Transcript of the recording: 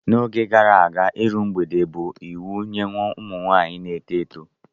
N'oge gara aga, iru mgbede bụ iwu nye ụmụ nwaanyị na-eto eto.